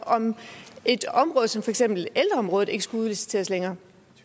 et område som for eksempel ældreområdet ikke skulle udliciteres længere